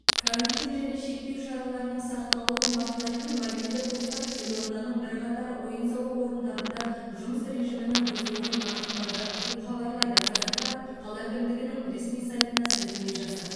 карантин және шектеу шараларының сақталуын бақылайтын мобильді топтар елорданың бірқатар ойын сауық орындарында жұмыс режимінің бұзылуын анықтады деп хабарлайды қазақпарат қала әкімдігінің ресми сайтына сілтеме жасап